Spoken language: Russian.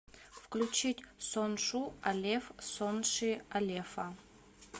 включить соншу алеф сонши алефа